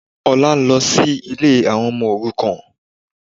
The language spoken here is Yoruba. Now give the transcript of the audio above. Olá ń lọ sí ilé àwọn ọmọ òrukàn